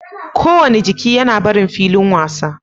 Kowane jiki yana barin filin wasa